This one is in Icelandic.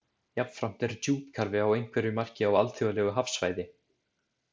Jafnframt er djúpkarfi að einhverju marki á alþjóðlegu hafsvæði.